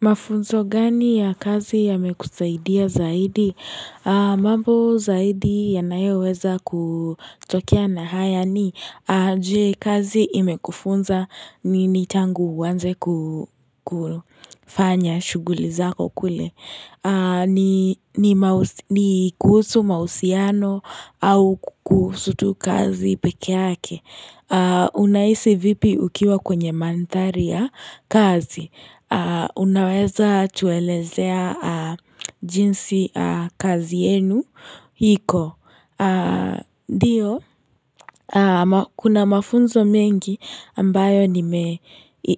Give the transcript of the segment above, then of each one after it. Mafunzo gani ya kazi yamekusaidia zaidi? Mambo zaidi yanayoweza kutokea na haya ni aje kazi imekufunza nini tangu uanze kufanya shughuli zako kule. Ni kuhusu mahusiano au kuhusu tu kazi peke yake. Unahisi vipi ukiwa kwenye manthari ya kazi? Unaweza tuelezea jinsi kazi yenu iko ndio, kuna mafunzo mengi ambayo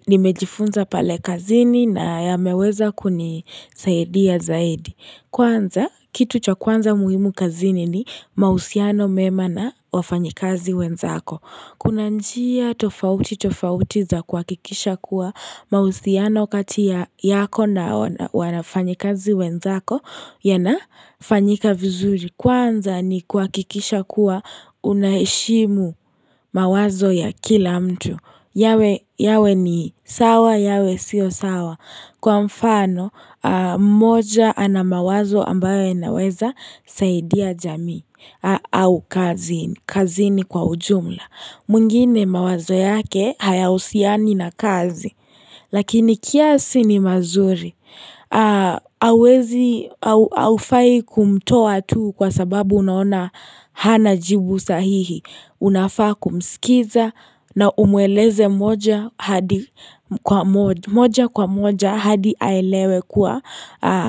nimejifunza pale kazini na yameweza kunisaidia zaidi Kwanza, kitu cha kwanza muhimu kazini ni mahusiano mema na wafanyikazi wenzako Kuna njia tofauti tofauti za kuhakikisha kuwa mahusiano kati ya yako na wanafanyikazi wenzako yanafanyika vizuri kwanza ni kuhakikisha kuwa unaheshimu mawazo ya kila mtu. Yawe ni sawa, yawe sio sawa. Kwa mfano, mmoja ana mawazo ambaye yanaweza saidia jamii au kazini kwa ujumla. Mwingine mawazo yake hayahusiani na kazi. Lakini kiasi ni mazuri. Hauwezi, haufai kumtoa tu kwa sababu unaona hana jibu sahihi. Unafaa kumskiza na umweleze moja kwa moja hadi aelewe kuwa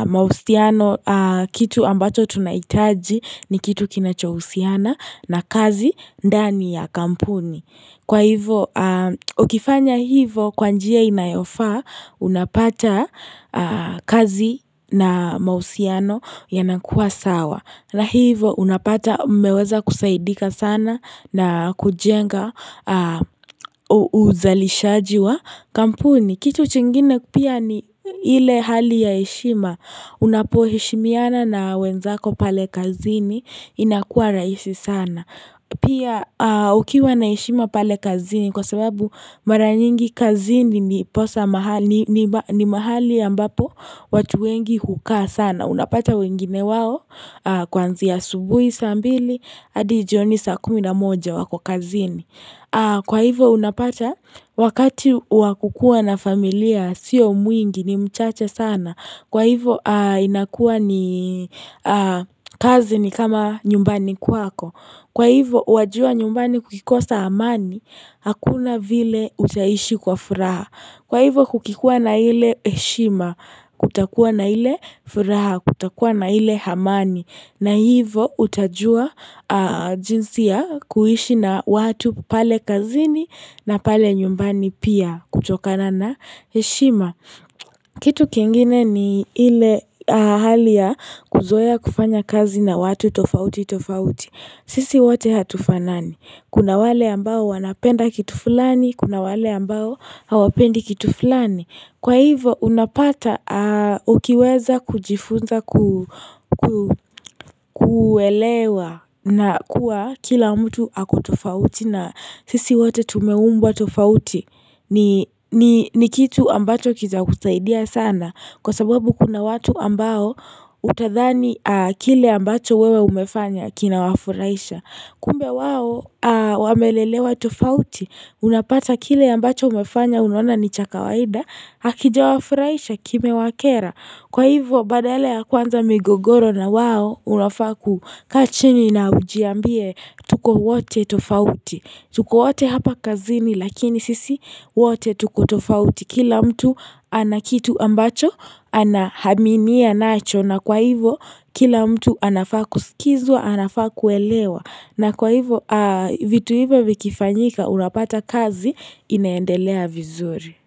mahusiano kitu ambacho tunahitaji ni kitu kinachohusiana na kazi ndani ya kampuni. Kwa hivo, ukifanya hivo kwa njia inayofaa, unapata kazi na mahusiano yanakuwa sawa. Na hivo, unapata mmeweza kusaidika sana na kujenga uzalishaji wa kampuni. Kitu kingine pia ni ile hali ya heshima. Unapoheshimiana na wenzako pale kazini inakua rahisi sana. Pia ukiwa na heshima pale kazini kwa sababu mara nyingi kazini ni mahali ya ambapo watu wengi hukaa sana. Unapata wengine wao kuanzia asubuhi saa mbili hadi jioni saa kumi na moja wako kazini. Kwa hivo unapata wakati wa kukua na familia sio mwingi ni mchache sana. Kwa hivo inakuwa ni kazi ni kama nyumbani kwako. Kwa hivo, wajua nyumbani kukikosa amani, hakuna vile utaishi kwa furaha. Kwa hivo, kukikua na ile heshima, kutakua na ile furaha, kutakua na ile amani. Na hivo, utajua jinsi ya kuishi na watu pale kazini na pale nyumbani pia kutokana na heshima. Kitu kingine ni ile hali ya kuzoea kufanya kazi na watu tofauti tofauti. Sisi wate hatufanani Kuna wale ambao wanapenda kitu fulani Kuna wale ambao hawapendi kitu fulani Kwa hivyo unapata ukiweza kujifunza kuelewa na kuwa kila mtu ako tofauti na sisi wote tumeumbwa tofauti ni kitu ambacho kitakusaidia sana Kwa sababu kuna watu ambao utadhani kile ambacho wewe umefanya kinawafurahisha Kumbe wao wamelelewa tofauti, unapata kile ambacho umefanya unaona ni cha kawaida, hakijawafurahisha kimewakera. Kwa hivo, badala ya kuanza migogoro na wao, unafaa kukaa chini na ujiambie tuko wote tofauti. Tuko wote hapa kazini, lakini sisi wote tuko tofauti. Kila mtu anakitu ambacho, anaaminia nacho na kwa hivo, kila mtu anafaa kuskizwa, anafaa kuelewa. Na kwa hivo vitu hivo vikifanyika unapata kazi inaendelea vizuri.